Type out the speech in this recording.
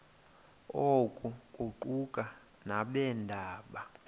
oku kuquka nabeendaba